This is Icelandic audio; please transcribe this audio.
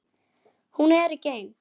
Hún er ekki ein.